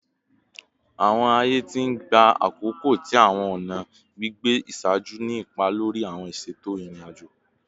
Awọn aaye ti n gba akoko ti awọn ọna gbigbe iṣaaju ni ipa lori awọn iṣeto irin-ajo